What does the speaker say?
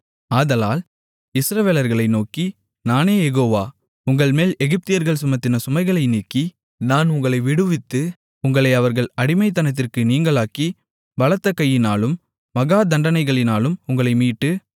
ஆதலால் இஸ்ரவேலர்களை நோக்கி நானே யெகோவா உங்கள்மேல் எகிப்தியர்கள் சுமத்தின சுமைகளை நீக்கி நான் உங்களை விடுவித்து உங்களை அவர்கள் அடிமைத்தனத்திற்கு நீங்கலாக்கி பலத்த கையினாலும் மகா தண்டனைகளினாலும் உங்களை மீட்டு